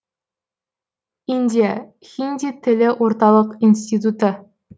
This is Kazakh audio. индия хинди тілі орталық институты